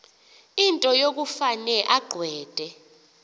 into yokufane agweqe